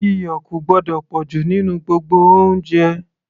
iyọ̀ kò gbọ́dọ̀ pọ̀jù nínú gbogbo oúnjẹ